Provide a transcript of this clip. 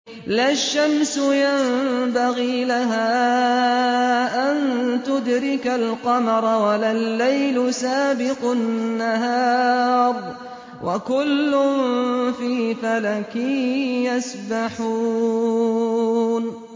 لَا الشَّمْسُ يَنبَغِي لَهَا أَن تُدْرِكَ الْقَمَرَ وَلَا اللَّيْلُ سَابِقُ النَّهَارِ ۚ وَكُلٌّ فِي فَلَكٍ يَسْبَحُونَ